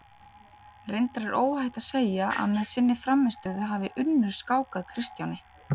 Reyndar er óhætt að segja að með sinni frammistöðu hafi Unnur skákað Kristjáni.